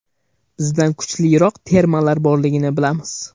Bizdan kuchliroq termalar borligini bilamiz.